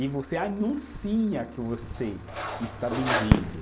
E você anuncia que você está vendendo.